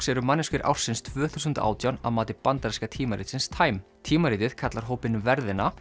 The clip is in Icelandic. eru manneskjur ársins tvö þúsund og átján að mati bandaríska tímaritsins time tímaritið kallar hópinn verðina